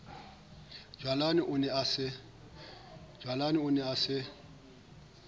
jwalane o ne a se